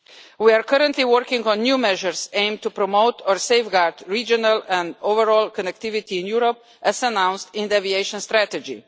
We are currently working on new measures aimed to promote or safeguard regional and overall connectivity in Europe, as announced in the Aviation Strategy.